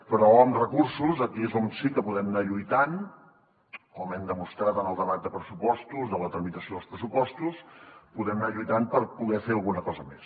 però amb recursos aquí és on sí que podem anar lluitant com hem demostrat en el debat de pressupostos de la tramitació dels pressupostos per poder fer alguna cosa més